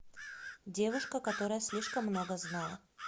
девушка которая слишком много знала